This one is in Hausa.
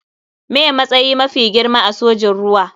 Me matsayi mafi girma a sojin ruwa.